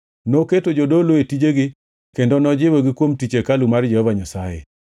Noketo jodolo e tijegi kendo nojiwogi kuom tich hekalu mar Jehova Nyasaye.